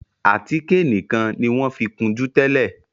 Àtíkè nìkàn ní wón fí kunjú tẹlẹ.